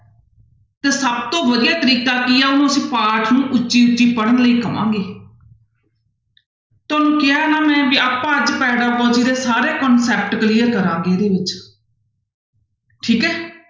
ਤੇ ਸਭ ਤੋਂ ਵਧੀਆ ਤਰੀਕਾ ਕੀ ਆ ਉਹਨੂੰ ਅਸੀਂ ਪਾਠ ਨੂੰ ਉੱਚੀ ਉੱਚੀ ਪੜ੍ਹਨ ਲਈ ਕਹਾਂਗੇ ਤੁਹਾਨੂੰ ਕਿਹਾ ਨਾ ਮੈਂ ਵੀ ਆਪਾਂ ਅੱਜ ਸਾਰੇ concept clear ਕਰਾਂਗੇ ਇਹਦੇ ਵਿੱਚ ਠੀਕ ਹੈ।